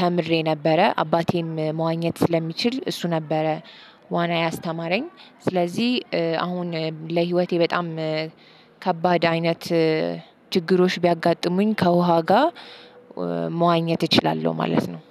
ተምሬ ነበረ። አባቴም መዋኘት ስለሚችል እሱ ነበረ ዋና ያስተማረኝ። ስለዚህ አሁን ለህይወቴ በጣም ከባድ አይነት ችግሮች ቢያጋጥሙኝ ከውሃ ጋር መዋኘት እችላለሁ ማለት ነው።